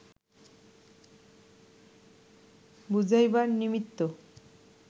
বুঝাইবার নিমিত্ত